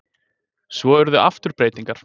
Svo urðu aftur breytingar.